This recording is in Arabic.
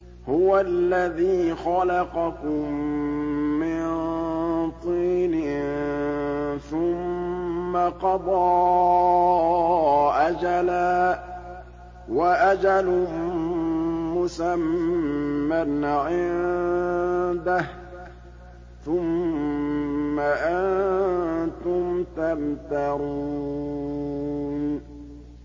هُوَ الَّذِي خَلَقَكُم مِّن طِينٍ ثُمَّ قَضَىٰ أَجَلًا ۖ وَأَجَلٌ مُّسَمًّى عِندَهُ ۖ ثُمَّ أَنتُمْ تَمْتَرُونَ